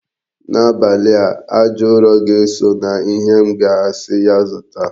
N'abalị a, aja ụrọ ga-eso na ihe m ga-asi ya zụta.